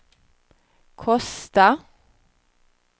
Kosta